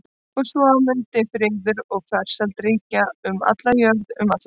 Og svo mundi friður og farsæld ríkja um alla jörð um alla framtíð.